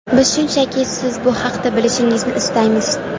Biz shunchaki siz bu haqda bilishingizni istaymiz”.